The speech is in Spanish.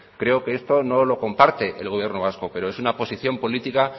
creo que esto no lo comparte el gobierno vasco pero es una situación política